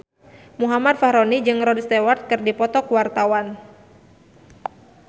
Muhammad Fachroni jeung Rod Stewart keur dipoto ku wartawan